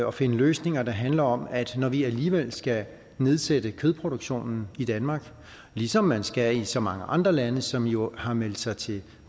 og finde løsninger der handler om at når vi alligevel skal nedsætte kødproduktionen i danmark ligesom man skal i så mange andre lande som jo har meldt sig til